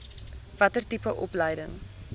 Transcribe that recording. watter tipe opleiding